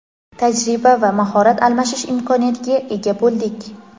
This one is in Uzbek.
tajriba va mahorat almashish imkoniyatiga ega bo‘ldik.